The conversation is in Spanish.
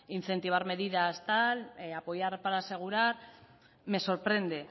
incentivar medidas tal apoyar para asegurar me sorprende